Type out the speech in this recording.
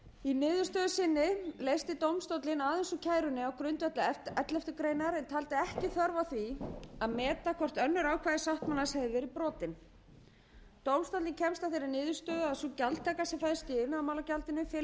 í niðurstöðu sinni leysti dómstólinn aðeins úr kærunni á grundvelli elleftu greinar en taldi ekki þörf á því að meta hvort önnur ákvæði sáttmálans hefðu verið brotin dómstóllinn kemst að þeirri niðurstöðu að sú gjaldtaka sem felst í iðnaðarmálagjaldinu felist í